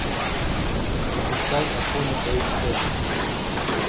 запускай афоня эйч дэ